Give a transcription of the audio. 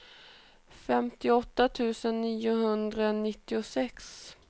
femtioåtta tusen niohundranittiosex